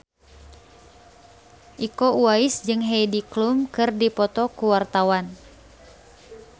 Iko Uwais jeung Heidi Klum keur dipoto ku wartawan